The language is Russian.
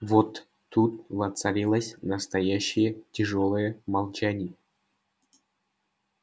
вот тут воцарилось настоящее тяжёлое молчание